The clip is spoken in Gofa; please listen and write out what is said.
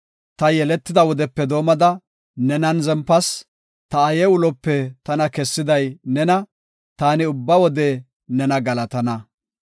Ta yeletida wodepe doomada nenan zempas; ta aaye ulope tana kessiday nena; taani ubba wode nena galatana.